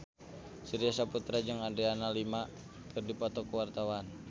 Surya Saputra jeung Adriana Lima keur dipoto ku wartawan